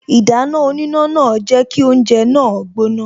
Ìdáná oníná náà jẹ́ kí oúnje náà gbóná